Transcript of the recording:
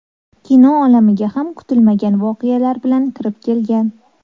Kino olamiga ham kutilmagan voqealar bilan kirib kelgan.